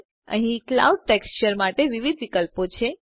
અહીં Cloudsટેક્સચર માટે વિવિધ વિકલ્પો છે